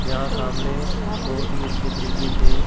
यहां सामने बहोत ही अच्छे तरीके से--